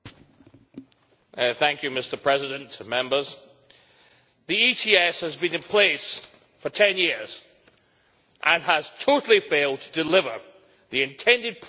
Mr President, the ETS has been in place for 10 years and has totally failed to deliver the intended price signals in the market.